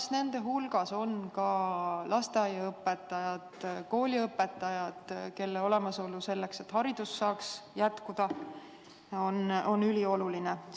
Kas nende hulgas on ka lasteaiaõpetajad, kooliõpetajad, kelle olemasolu, selleks et haridus saaks jätkuda, on ülioluline?